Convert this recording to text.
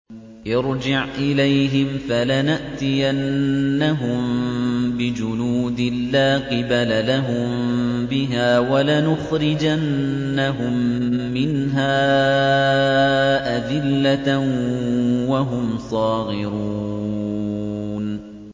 ارْجِعْ إِلَيْهِمْ فَلَنَأْتِيَنَّهُم بِجُنُودٍ لَّا قِبَلَ لَهُم بِهَا وَلَنُخْرِجَنَّهُم مِّنْهَا أَذِلَّةً وَهُمْ صَاغِرُونَ